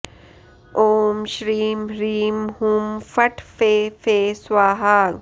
ओं श्रीं ह्रीं हुं फट् फे फे स्वाहा